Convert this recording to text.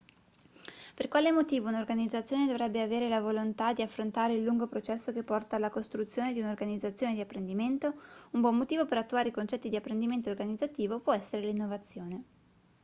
per quale motivo un'organizzazione dovrebbe avere la volontà di affrontare il lungo processo che porta alla costruzione di un'organizzazione di apprendimento un buon motivo per attuare i concetti di apprendimento organizzativo può essere l'innovazione